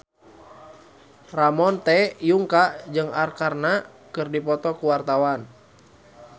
Ramon T. Yungka jeung Arkarna keur dipoto ku wartawan